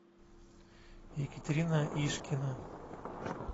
екатерина ишкина